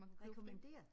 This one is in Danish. Akkommodere